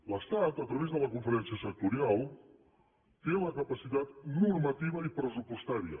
l’estat a través de la conferència sectorial té la capacitat normativa i pressupostària